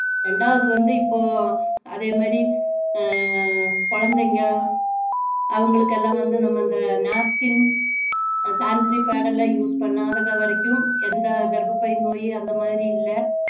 ரெண்டாவது வந்து இப்போ அதே மாதிரி ஆஹ் குழந்தைங்க அவங்களுக்கு எல்லாம் வந்து நம்ம இந்த napkin sanitary pad எல்லாம் use பண்ணாத வரைக்கும் எந்த கர்பப்பை நோய் அந்த மாதிரி இல்ல